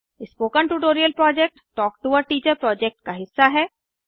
spoken tutorial project talk to a teacher project का हिस्सा है